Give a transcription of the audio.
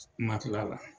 Makila la